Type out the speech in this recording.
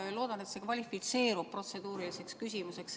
Ma loodan, et see kvalifitseerub protseduuriliseks küsimuseks.